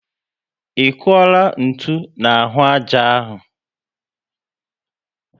I kuola ntụ n'ahụ ájá áhù?